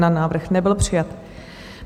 Návrh nebyl přijat.